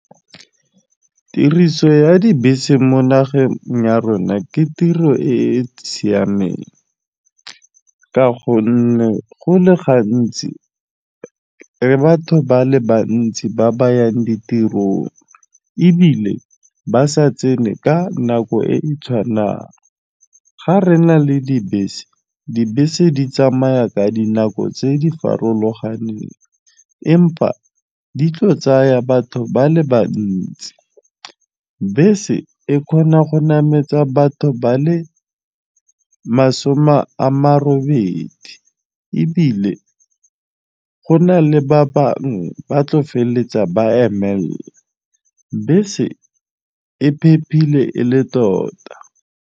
Tiriso ya dibese mo nageng ya rona ke tiro e e siameng ka gonne go le gantsi le batho ba le bantsi ba bayang ditirong ebile ba sa tsene ka nako e e tshwanang ga re na le dibese, dibese di tsamaya ka dinako tse di farologaneng empa di tlo tsaya batho ba le bantsi bese e kgona go nametsa batho ba le masome a marobedi ebile go na le ba bangwe ba tlo feleletsa ba emelela bese e phephile e le tota.